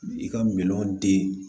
I ka miliyɔn den